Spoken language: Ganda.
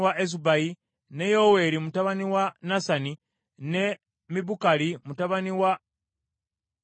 ne Yoweeri muganda wa Nasani, ne Mibukali mutabani wa Kaguli;